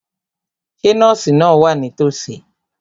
Ṣé nọ́ọ̀sì náà wà nítòsí?